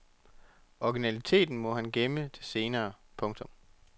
Originaliteten må man gemme til senere. punktum